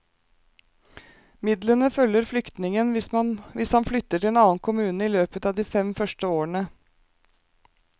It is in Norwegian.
Midlene følger flyktningen hvis han flytter til en annen kommune i løpet av de fem første årene.